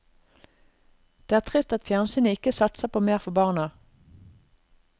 Det er trist at fjernsynet ikke satser på mer for barna.